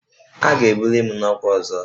A ga-ebuli m n'ọkwa ọzọ